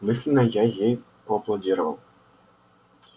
мысленно я ей поаплодировал